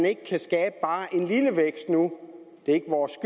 ikke kan skabe bare en lille vækst nu er ikke vores